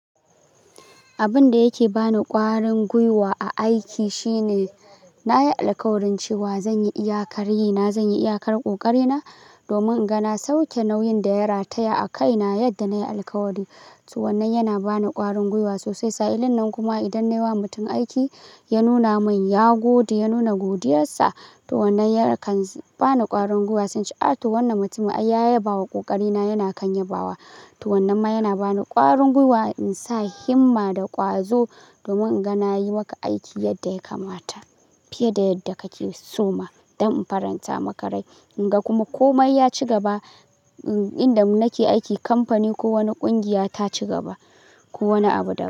Abin da yake ba ni ƙwarin gwiwa a aiki shine na yi alkawarin cewa zan yi iyakar yi, na zan yi iyakar ƙoƙari na domin in ga na sauke nauyin da ya rataya a kai na yadda na yi alkawari. To wannan yana ba ni ƙwarin gwiwa sosai. Sa'ilin nan kuma idan na yi wa mutum aiki, ya nuna min ya gode, ya nuna godiyarsa, to wannan yakan ba ni ƙwarin gwiwa, sanchi a to wannan mutumin ai ya yabawa ƙoƙari na, yana kan yabawa. To wannan ma yana ba ni ƙwarin gwiwa in sa himma da ƙwazo domin in ga na yi maka aiki yadda ya kamata fiye da yadda kake so ma don in faranta maka rai. In ga kuma komai ya ci gaba, inda muke aiki, kamfani ko wani ƙungiya ta ci gaba ko wani abu da.